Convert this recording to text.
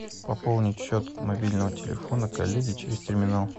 пополнить счет мобильного телефона коллеги через терминал